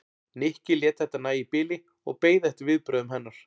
Nikki lét þetta nægja í bili og beið eftir viðbrögðum hennar.